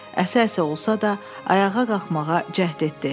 Əsə-əsə olsa da, ayağa qalxmağa cəhd etdi.